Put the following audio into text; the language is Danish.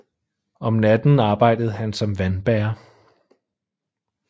Om natten arbejdede han som vandbærer